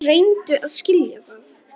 Reyndu að skilja það!